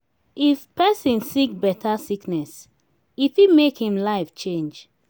if person sick better sickness e fit make im life change